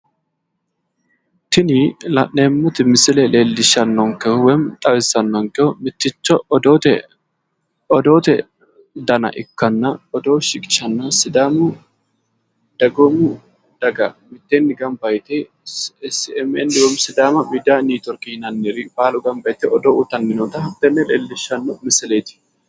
Tini la'neemmoti misile lellishshannokehu woyiimmi xawissannonkehu mitticho odoote dana ikkanna odoo shiqishanno sidaamu dagoomu daga mitteenni gamba yite smn woyiimmi sidaama miidiya netiworkiri baalu gamba yite odoo uyiitanni noota tenne leellishshanno misileeti